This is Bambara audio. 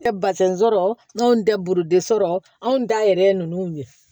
Tɛ basɛn sɔrɔ n'an tɛ burudesɔrɔ anw da yɛrɛ ye ninnu ye